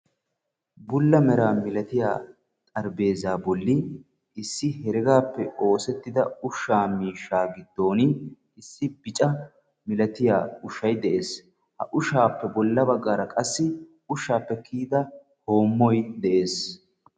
bulla mera milatiya xarapheezzaa bolli issi heregaappe oosettida ushshaa miishshaa giddon issi bica milatiya ushshay de'es. ha ushshaappe bolla baggaara qassi ushshaappe kiyida hoommoy de'es.